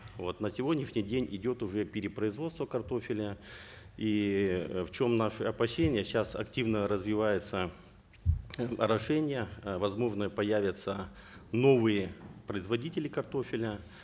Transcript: вот на сегодняшний день идет уже перепроизводство картофеля и э в чем наши опасения сейчас активно развивается орошение э возможно появятся новые производители картофеля